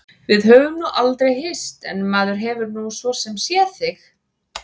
Við höfum nú aldrei hist en maður hefur nú svo sem séð þig.